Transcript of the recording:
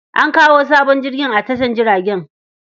An kawo sabon jirgin a tashar jiragen.